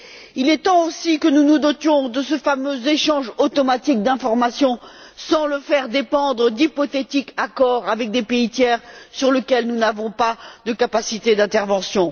Il est temps, aussi, que nous nous dotions de ce fameux échange automatique d'informations, sans le faire dépendre d'hypothétiques accords avec des pays tiers sur lesquels nous n'avons pas de capacité d'intervention.